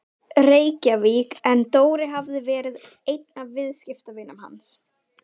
Reykjavík en Dóri hafði verið einn af viðskiptavinum hans.